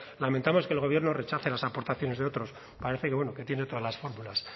lamentamos que el gobierno rechace las aportaciones de otros parece que bueno que tiene todas las fórmulas